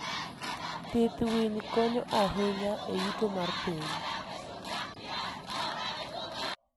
Pidh winy konyo ahinya e yuto mar piny.